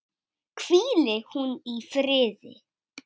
Hvíli hún í friði.